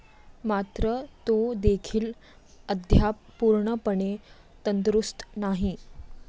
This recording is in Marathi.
मात्र तोदेखील अद्याप पूर्णपणे तंदुरुस्त नाही.